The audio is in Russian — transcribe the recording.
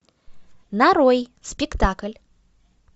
нарой спектакль